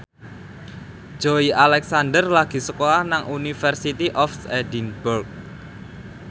Joey Alexander lagi sekolah nang University of Edinburgh